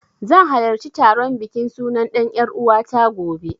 Zan halarci taron bikin sunan ɗan ƴaruwata, gobe.